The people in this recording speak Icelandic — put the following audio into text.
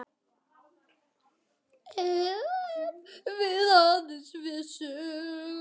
Ef við aðeins vissum.